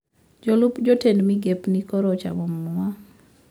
Jolup jotend migepni koro ochamo muma